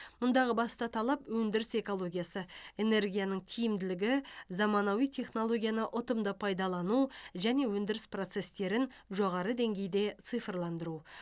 мұндағы басты талап өндіріс экологиясы энергияның тиімділігі заманауи технологияны ұтымды пайдалану және өндіріс процесстерін жоғары деңгейде цифрландыру